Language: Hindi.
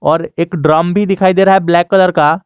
और एक ड्रम भी दिखाई दे रहा है ब्लैक कलर का।